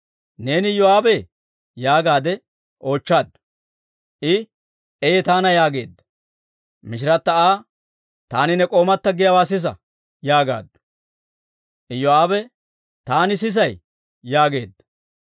«Neeni Iyoo'aabee?» yaagaade oochchaaddu. I, «Ee, taana» yaageedda. Mishirata Aa, «Taani ne k'oomata giyaawaa sisa» yaagaaddu. Iyoo'aabe, «Taani sisay» yaageedda.